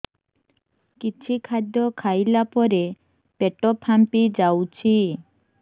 କିଛି ଖାଦ୍ୟ ଖାଇଲା ପରେ ପେଟ ଫାମ୍ପି ଯାଉଛି